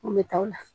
N kun bɛ taa o la